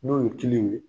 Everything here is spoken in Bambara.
N'o ye kiliyanw ye